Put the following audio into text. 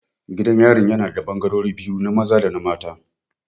Gidan yarin yana da ɓangarori biyu, na maza dana maza